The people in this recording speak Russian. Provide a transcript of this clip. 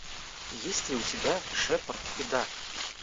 есть ли у тебя шепард и дарк